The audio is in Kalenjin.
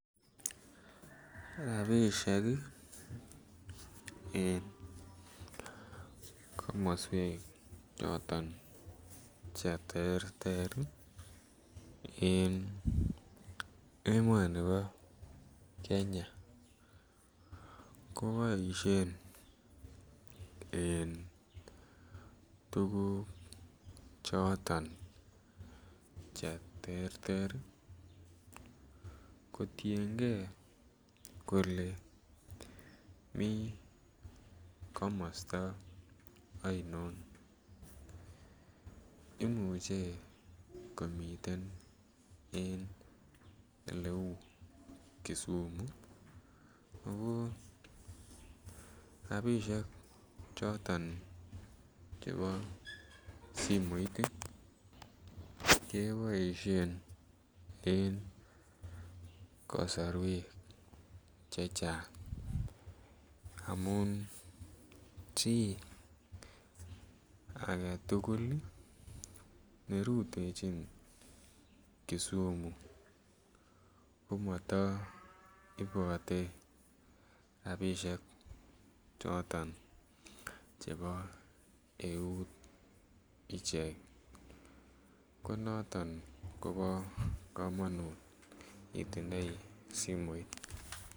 Rabishek ii en komoswek choton che terter ii en emonibo Kenya ko boishen en tuguk choton che terter ii kotiengee kolee mii komosto onion imuche komiten en ele uu Kisumu ako rabishek choton chebo simoit ii keboishen en kosorwek chechang amun chi agetugul ii ne rutechin Kisumu komoto ibote rabishek choton chebo eut ichek ko noton kobo komonut itindoi simoit